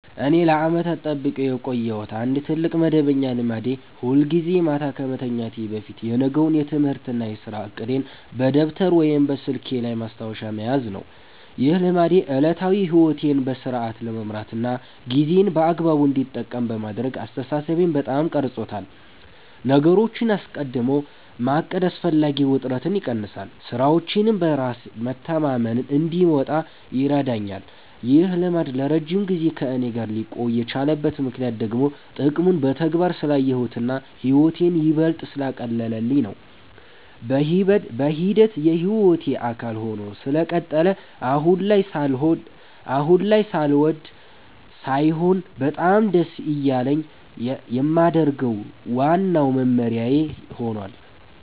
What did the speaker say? እኔ ለዓመታት ጠብቄው የቆየሁት አንድ ትልቅ መደበኛ ልማዴ ሁልጊዜ ማታ ከመተኛቴ በፊት የነገውን የትምህርትና የሥራ ዕቅዴን በደብተር ወይም በስልኬ ላይ ማስታወሻ መያዝ ነው። ይህ ልማዴ ዕለታዊ ሕይወቴን በሥርዓት ለመምራትና ጊዜዬን በአግባቡ እንድጠቀም በማድረግ አስተሳሰቤን በጣም ቀርጾታል። ነገሮችን አስቀድሞ ማቀድ አላስፈላጊ ውጥረትን ይቀንሳል፤ ሥራዎቼንም በራስ መተማመን እንድወጣ ይረዳኛል። ይህ ልማድ ለረጅም ጊዜ ከእኔ ጋር ሊቆይ የቻለበት ምክንያት ደግሞ ጥቅሙን በተግባር ስላየሁትና ሕይወቴን ይበልጥ ስላቀለለልኝ ነው። በሂደት የሕይወቴ አካል ሆኖ ስለቀጠለ አሁን ላይ ሳልወድ ሳይሆን በጣም ደስ እያለኝ የማደርገው ዋናው መመሪያዬ ሆኗል።